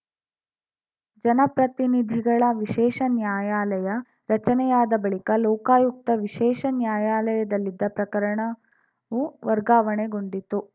ಜನಪ್ರತಿನಿಧಿಗಳ ವಿಶೇಷ ನ್ಯಾಯಾಲಯ ರಚನೆಯಾದ ಬಳಿಕ ಲೋಕಾಯುಕ್ತ ವಿಶೇಷ ನ್ಯಾಯಾಲಯದಲ್ಲಿದ್ದ ಪ್ರಕರಣವು ವರ್ಗಾವಣೆಗೊಂಡಿತು